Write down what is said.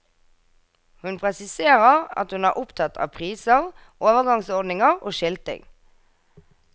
Hun presiserer at hun er opptatt av priser, overgangsordninger og skilting.